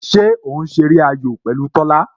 Ṣé o ń ṣe eré ayò pẹ̀lú Tola?